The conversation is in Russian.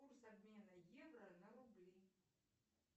курс обмена евро на рубли